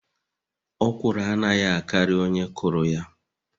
Okwụrụ anaghi akari onye kuru ya.